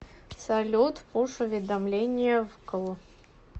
салют пуш уведомления вкл